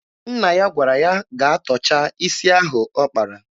Nna ya gwara ya gaa tọcha isi ahụ ọ kpara.